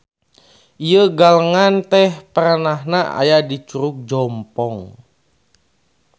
Ieu galengan teh perenahna aya di Curug Jompong.